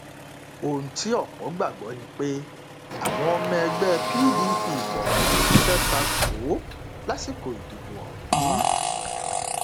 ohun tí ọpọ gbàgbọ ni pé àwọn ọmọ ẹgbẹ pdp kọọkan ṣiṣẹ ta kò ó lásìkò ìdìbò ọhún